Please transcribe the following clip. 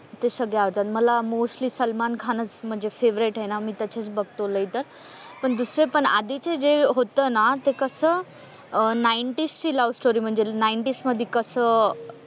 ते सगळे आवडतात मला मोस्टली सलमान खान च म्हणजे फेव्हरेट आहे ना मी त्याची च बघतो लय तर दुसरे पण आधीचे जे होत ना ते कस अह नाईंटीज ची लव्हस्टोरी म्हणजे नाईंटीज मध्ये कस,